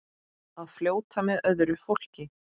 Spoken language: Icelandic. Að fljóta með öðru fólki.